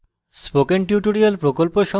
spoken tutorial প্রকল্প সম্পর্কে অধিক জানতে